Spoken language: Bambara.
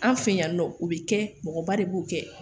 An fɛ yan nɔ o bɛ kɛ mɔgɔba de b'o kɛ